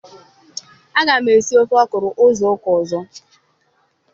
Aga m esi ofe ọkwụrụ izu ụka ọzọ.